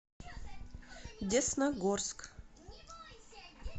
десногорск